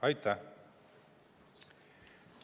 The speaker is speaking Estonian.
Aitäh!